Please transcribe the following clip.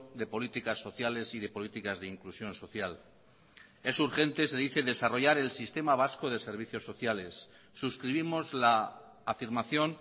de políticas sociales y de políticas de inclusión social es urgente se dice desarrollar el sistema vasco de servicios sociales suscribimos la afirmación